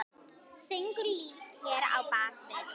Söngur lífs hér að baki.